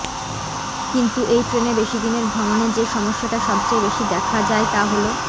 কিন্তু এই ট্রেনে বেশিদিনের ভ্রমণে যে সমস্যাটা সবচেয়ে বেশি দেখা যায় তা হল